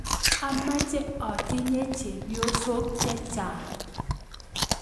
Amache atinye chepyosok chechang